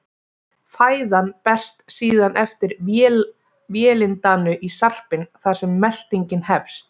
Fæðan berst síðan eftir vélindanu í sarpinn þar sem meltingin hefst.